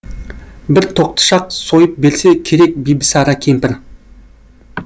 бір тоқтышақ сойып берсе керек бибісара кемпір